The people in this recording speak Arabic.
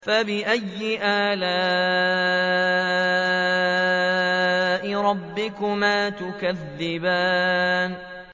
فَبِأَيِّ آلَاءِ رَبِّكُمَا تُكَذِّبَانِ